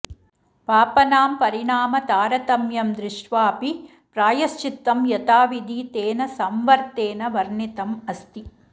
पापनां परिणाम तारतम्यं दृष्ट्वापि प्रायश्चित्तं यताविधि तेन सम्वर्त्तेन वर्णितमस्ति